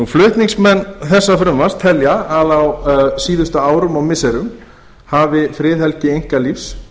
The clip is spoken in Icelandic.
flutningsmenn þessa frumvarps telja að á síðustu árum og missirum hafi friðhelgi einkalífs